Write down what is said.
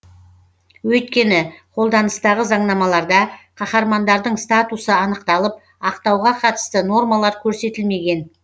өйткені қолданыстағы заңнамаларда қаһармандардың статусы анықталып ақтауға қатысты нормалар көрсетілмеген